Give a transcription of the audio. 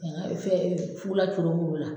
fɛn fukula curonnen b'u la